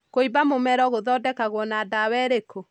kũimba mũmero gũthondekagwo na dawa ĩrĩku?